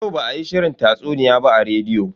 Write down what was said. Yau ba a yi shirin tatsuniya ba a rediyo.